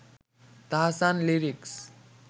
Tahsan lyrics